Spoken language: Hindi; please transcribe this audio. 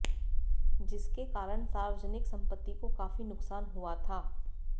जिसके कारण सार्वजनिक संपत्ति को काफी नुकसान हुआ था